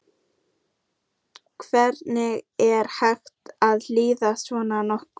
Hvernig er hægt að líða svona nokkuð?